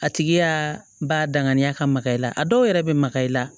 A tigi y'a ba danganiya ka maga i la a dɔw yɛrɛ bɛ maga i la